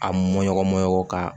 A mɔɲɔgɔn ka